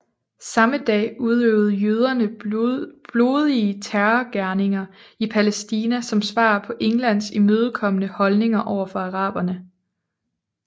Samme dag udøvede jøderne blodige terrorgerninger i Palæstina som svar på Englands imødekommende holdning over for araberne